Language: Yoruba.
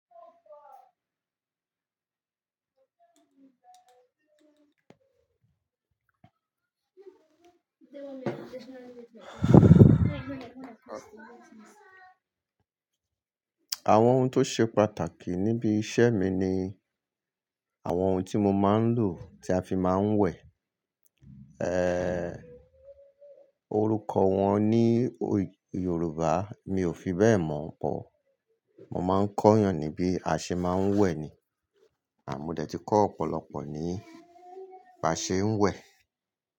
Àwọn ohun tó ṣe pàtàkì níbi iṣẹ́ mi ni àwọn ohun tí mo máa ń lò, tí a fi máa ń wẹ̀. Eeh, orúkọ wọn ní Yorùbá mi ò fi bẹ́ẹ̀ mọ̀ ọ́n pọ̀. Mo máa ń kọ́ yàn ní bí a ṣe máa ń wẹ̀ ni, àh mo dẹ̀ ti kọ́ ọ̀pọ̀lọpọ̀ ní bí a ṣe ń wẹ̀.